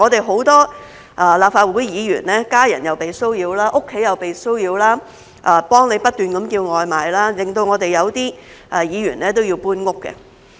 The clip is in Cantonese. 很多立法會議員的家人被騷擾，家中又被騷擾，有人不斷替他們叫外賣，令到有些議員要搬遷。